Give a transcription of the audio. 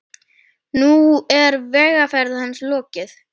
Nú er vegferð hans lokið.